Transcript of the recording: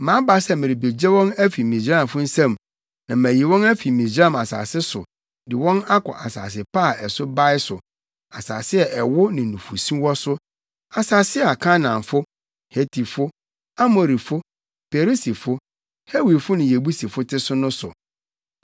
Maba sɛ merebegye wɔn afi Misraimfo nsam na mayi wɔn afi Misraim asase so de wɔn akɔ asase pa a ɛso bae so, asase a ɛwo ne nufusu wɔ so; asase a Kanaanfo, Hetifo, Amorifo, Perisifo, Hewifo ne Yebusifo te so no so.